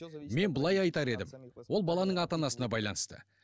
мен былай айтар едім ол баланың ата анасына байланысты